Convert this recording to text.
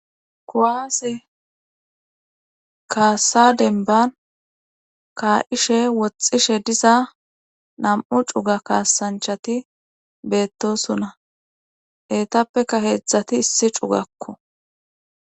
Kowaase kaasa denban kaa7ishe woxxishe diza nam7u cuga kaasanchati beettosuna heetappeka heedzdzati issi cugakko